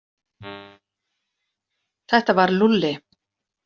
Þetta var Lúlli.